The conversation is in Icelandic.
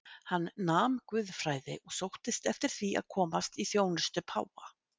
Hann nam guðfræði og sóttist eftir því að komast í þjónustu páfa.